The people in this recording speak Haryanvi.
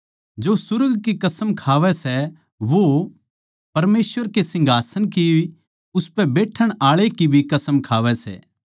जो सुर्ग कसम खावै सै वो परमेसवर कै सिंहासन की अर उसपै बैठण आळै की भी कसम खावै सै